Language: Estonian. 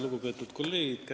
Lugupeetud kolleegid!